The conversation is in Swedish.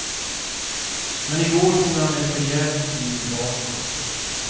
Men i går tog han ett rejält kliv bakåt.